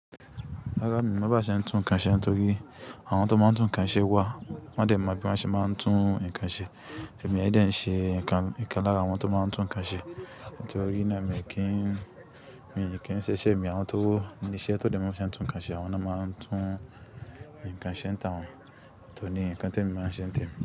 Rárá mi ò mọ bí wọ́n ṣe ń tún nǹkan ṣe nítorí àwọn tó máa ń tún nǹkan ṣe wá wọ́n ò dẹ̀ mọ bí wọ́n ṣe máa ń tún nǹkan ṣe. Èmi aì dẹ̀ ń ṣe ǹkan lára àwọn tó máa ń tún nǹkan ṣe. Nítorí náà, mi kí ń ṣe ṣèmi àwọn tó ní iṣẹ́ tó dẹ̀ mọ bí wọ́n ṣe ń tún nǹkan ṣe, àwọn náà máa ń tún nǹkan ṣe táwọn. Ọ̀tọ́ ní nǹkan tí èmi máa ń ṣe ń tẹ̀mi.